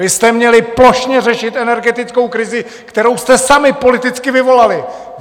Vy jste měli plošně řešit energetickou krizi, kterou jste sami politicky vyvolali!